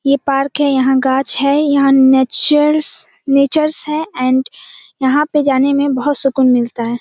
ये पार्क है यहां गाछ है यहाँ नेचर्स नेचर्स है एंड यहाँ पे जाने में बहुत सुकून मिलता है।